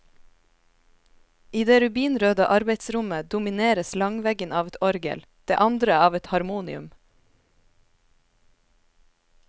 I det rubinrøde arbeidsrommet domineres langveggen av et orgel, det andre av et harmonium.